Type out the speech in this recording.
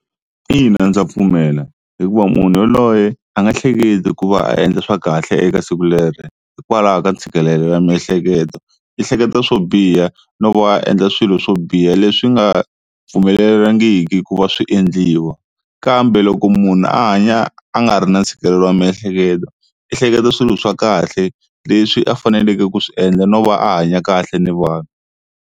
Ina ndza pfumela hikuva munhu yaloye a nga hleketi ku va a endla swa kahle eka siku leri hikwalaho ka ntshikelelo wa miehleketo i hleketa swo biha nova a endla swilo swo biha leswi nga pfumeleriwangiki ku va swi endliwa. Kambe loko munhu a hanya a nga ri na ntshikelelo wa miehleketo i hleketa swilo swa kahle leswi a faneleke ku swi endla no va a hanya kahle ni vanhu.